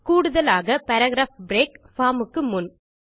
கூடுதலாக paragraph break formக்கு முன்